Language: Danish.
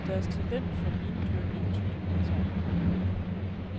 Deres talent for vindyrkning tog de med sig.